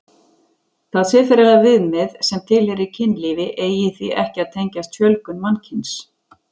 Það siðferðilega viðmið sem tilheyri kynlífi eigi því ekki að tengjast fjölgun mannkyns.